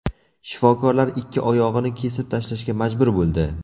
Shifokorlar ikki oyog‘ini kesib tashlashga majbur bo‘ldi.